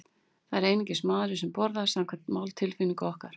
Það er einungis maðurinn sem borðar, samkvæmt máltilfinningu okkar.